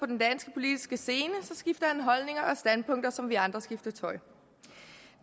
den danske politiske scene skifter han holdninger og standpunkter som vi andre skifter tøj